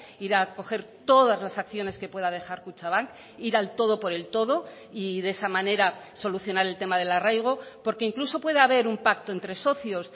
ir a coger todas las acciones que pueda dejar kutxabank ir al todo por el todo y de esa manera solucionar el tema del arraigo porque incluso puede haber un pacto entre socios